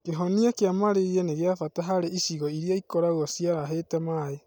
Kĩhonia kĩa Marĩria nĩ gĩa bata harĩ icigo irĩa ikoragwo ciarahĩte maĩ